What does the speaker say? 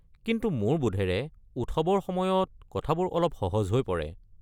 কিন্তু মোৰ বোধেৰে উৎসৱৰ সময়ত কথাবোৰ অলপ সহজ হৈ পৰে।